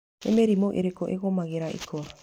Nĩ mĩrimũ ĩrĩkũ ĩgũmagĩra ikwa?